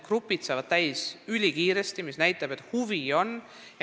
Rühmad saavad ülikiiresti täis – see näitab, et huvi on.